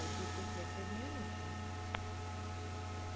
এ চার piece এর plate এর নেই নাকি?